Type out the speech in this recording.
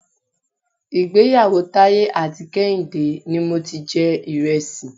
Ìgbéyàwó Taiye àti Kehinde ni mo ti jẹ Ìrẹsì.